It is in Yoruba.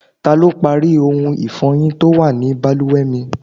Ta lọ parí ohun ifọyin tó wà ní bàlùwẹ̀ mi?